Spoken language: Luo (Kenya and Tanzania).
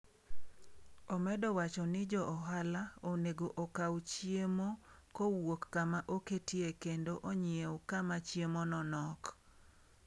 Omedo wacho ni jo ohala onego okaw chiemo kowuok kama oketie kendo onyiew kama chiemo no nok.